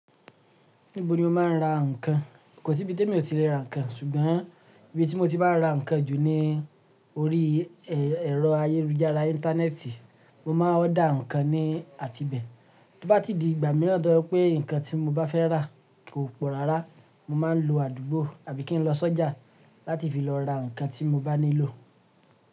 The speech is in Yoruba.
Níbo ni o máa ń ra ǹkan? Kò sí ibi tí èmi ò ti lè ra ǹkan, ṣùgbọ́n ibi tí mo ti maa ra ǹkan jù ni orí ẹ̀rọ ayélujára Íńtánẹ́ẹ̀tì, mo máa ń order ǹkan ní àti ibẹ̀. Tó bá ti di ìgbà mìíràn tó ba jẹ́ pé ǹkan tí mo bá fẹ́ rà kò pọ̀ rárá, mo máa ń lo àdúgbò àbí kí n lọ sọ́jà láti fi lọ ra ǹkan tí mo bá nílò.